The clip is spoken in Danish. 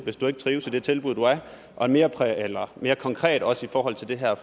hvis du ikke trives i de tilbud der er og mere konkret også i forhold til det her